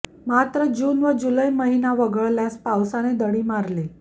मात्र जून व जुलै महिना वगळल्यास पावसाने दडी मारली